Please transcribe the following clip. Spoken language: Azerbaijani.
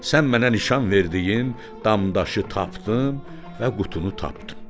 Sən mənə nişan verdiyin damdaşı tapdım və qutunu tapdım.